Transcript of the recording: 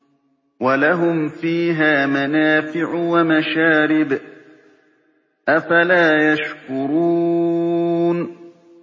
وَلَهُمْ فِيهَا مَنَافِعُ وَمَشَارِبُ ۖ أَفَلَا يَشْكُرُونَ